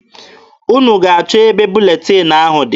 Unu ga-achọ ebe buletin ahụ dị.